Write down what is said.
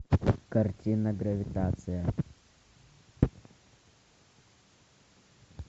картина гравитация